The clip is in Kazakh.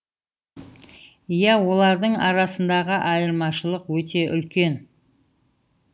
иә олардың арасындағы айырмашылық өте үлкен